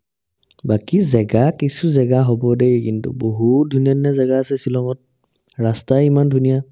বাকী জেগা কিছু জেগা হ'ব দেই কিন্তু বহুত ধুনীয়া ধুনীয়া জেগা আছে ছিলঙত ৰাস্তাই ইমান ধুনীয়া